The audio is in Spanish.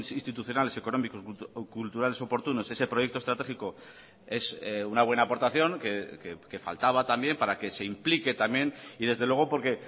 institucionales económicos culturales oportunos ese proyecto estratégico es una buena aportación que faltaba también para que se implique también y desde luego porque